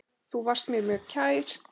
Þú varst mér mjög kær.